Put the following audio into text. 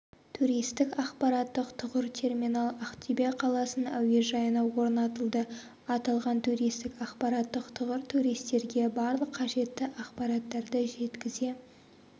туристік ақпараттық тұғыр-терминал ақтөбе қаласының әуежайына орнатылды аталған туристік-ақпараттық тұғыр туристерге барлық қажетті ақпараттарды жеткізе